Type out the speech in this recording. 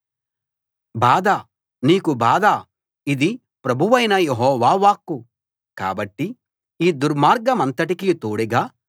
బాధ నీకు బాధ ఇది ప్రభువైన యెహోవా వాక్కు కాబట్టి ఈ దుర్మార్గమంతటికీ తోడుగా